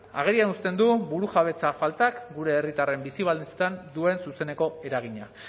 agerian uzten du burujabetza faltak gure herritarren bizi baldintzetan duen zuzeneko eragina